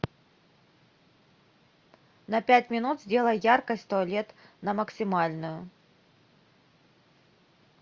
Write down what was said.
на пять минут сделай яркость туалет на максимальную